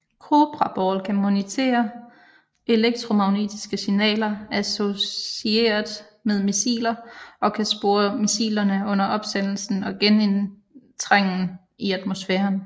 Cobra Ball kan monitorere elektromagnetiske signaler associeret med missiler og kan spore missilerne under opsendelsen og genindtrængen i atmosfæren